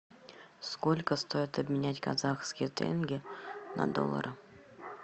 сколько стоит обменять казахские тенге на доллары